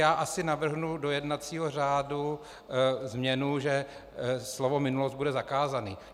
Já asi navrhnu do jednacího řádu změnu, že slovo minulost bude zakázané.